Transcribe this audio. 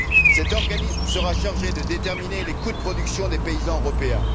Cet organisme sera chargé de déterminer les coûts de production des paysans européens.